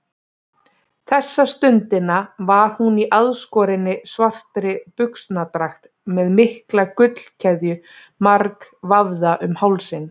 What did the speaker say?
Þessa stundina var hún í aðskorinni, svartri buxnadragt með mikla gullkeðju margvafða um hálsinn.